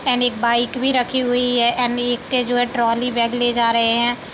M एक bike भी रखी हुई है। जो है ट्राली बैग ले जा रहे हैं।